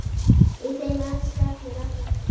Í þeim elska allir alla.